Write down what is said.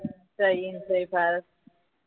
જય઼ હિંદ જ્ય઼ ભારત